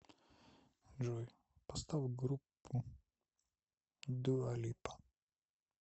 джой поставь группу дуа липа